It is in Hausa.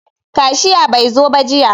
Kashiya bai zo ba jiya.